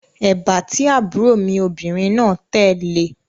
Èbá tí àbúrò mi obìnrin náà tẹ̀ le